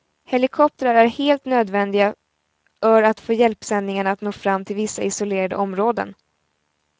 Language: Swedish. Helikoptrar är helt nödvändiga ör att få hjälpsändningarna att nå fram till vissa isolerade områden.